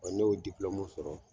Ɔn ni y'o sɔrɔ